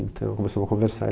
Então, começamos a conversar.